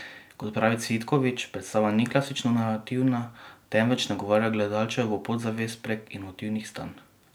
Kot pravi Cvitkovič, predstava ni klasično narativna, temveč nagovarja gledalčevo podzavest prek intuitivnih stanj.